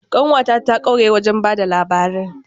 Ƙanwata ta kware wajen ba da labari.